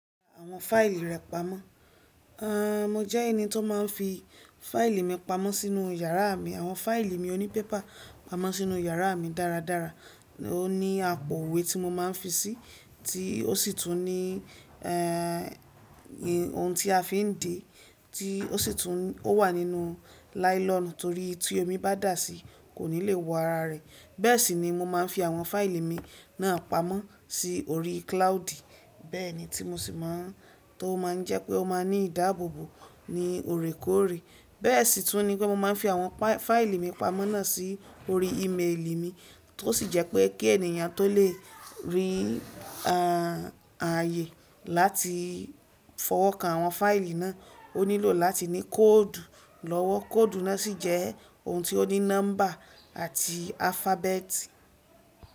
Àwọn fáìlì rẹ pamọ́. A, mo jẹ́ ẹni tó máa ń fi fáìlì mi pamọ́ sínú yàrá mi. Àwọn fáìlì mi oní pépà pamọ́ sínú yàrá mi dáradára. Ó ní àpò iwe tí mo máa ń fi síi, tí ó sì tún ní, e, ohun tí a fi ń de, tí ó sì tún, ó wà nínú láílọ̀nù torí tí omi bá dà síi kò ní lè wo ara rẹ̀. Bẹ́ẹ̀ sì ni mo máa ń fi àwọn fáìlì mi náà pamọ́ sí orí cloud. Bẹ́ẹ̀ ni tí mo sì máa, tó máa ń jẹ́ pé ó máa ní ìdáàbòbò ní òrékòrè. Bẹ́ẹ̀ sì tún ni pé mo máa ń fi àwọn fáìlì mi pamọ́ náà sí orí ímeèlì mi, tó sì jẹ́ pé kí ènìyàn tó lè rí, a, àyè láti fọwọ́ kan àwọn fáìlì náà, ó nílò láti ní kóòdù lọ́wọ́. Kóòdù náà sì jẹ́ ohun tí ó ní nọ́mbà àti alifábẹ́ẹ̀tì.